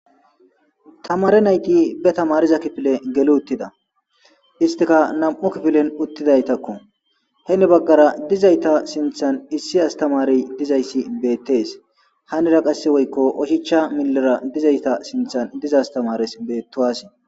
Ha tamariza kefiliy geli uttida. Isstika na''amu kifiliyan uttidosona. Heeni baqgara dizzayta sinttan issi astamaree dizza issi beetees. Haanira qasse woyko oshicha millira dizzayta sinttan beetti asi.